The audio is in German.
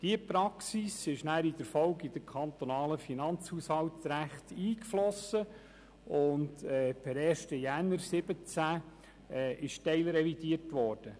Diese Praxis floss in der Folge in das kantonale Finanzhaushaltsrecht ein, das per 1. Januar 2017 teilrevidiert wurde.